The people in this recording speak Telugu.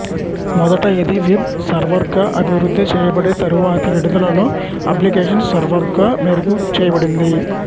మొదట ఇది వెబ్ సర్వర్గా అభివృద్ధి చేయబడి తరువాతి విడుదలలో అప్లికేషన్ సర్వర్గా మెరుగు చేయబడింది